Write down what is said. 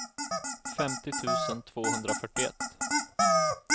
femtio tusen tvåhundrafyrtioett